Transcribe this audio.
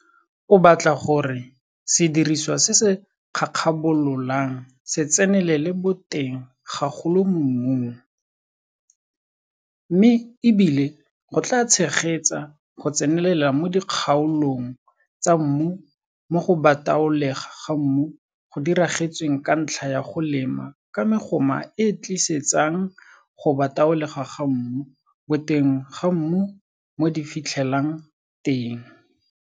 O batla gore sediriswa se se kgakgabololang se tsenelele boteng gagolo mo mmung, mme e bile go tlaa tshegetsa go tsenelela mo dikgaolong tsa mmu mo go bataolegwa ga mmu go diragetsweng ka ntlha ya go lema ka megoma e e tlisetsang go bataolegwa ga mmu boteng ga mmu mo di fitlhelang teng.